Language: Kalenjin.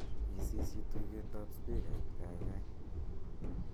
isisyii tuget ab spikait gaigai